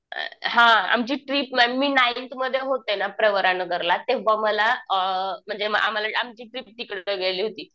अ हां आमची ट्रिप ना मी नाईन्थमध्ये होते ना प्रवरानगरला तेंव्हा मला अ म्हणजे आम्हाला आमची ट्रिप तिकडे गेली होती.